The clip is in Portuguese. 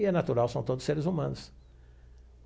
E é natural, são todos seres humanos.